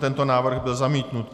Tento návrh byl zamítnut.